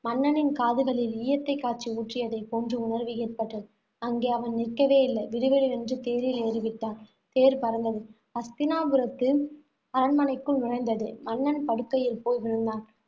மன்னனின் காதுகளில் ஈயத்தைக் காய்ச்சி ஊற்றியதைப் போன்ற உணர்வு ஏற்பட்டது. அங்கே அவன் நிற்கவே இல்லை. விடுவிடுவென்று தேரில் ஏறிவிட்டான். தேர் பறந்தது. ஹஸ்தினாபுரத்து அரண்மனைக்குள் நுழைந்தது. மன்னன் படுக்கையில் போய் விழுந்தான்.